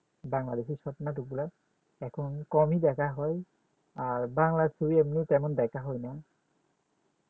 Bangladeshi short নাটক গলা এখন কম দেখা হয় আর বাংলা ছবি এগুলা তেমন দেখা হয়না যখন আমার এমবি থাকে না তখন ওগুলা দেখা হয়